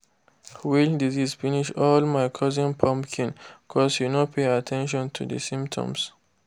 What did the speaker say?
wilt disease finish all my cousin pumpkin cos he no pay at ten tion to the symptoms